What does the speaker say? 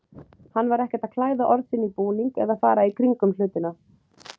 Hann var ekkert að klæða orð sín í búning eða fara í kringum hlutina.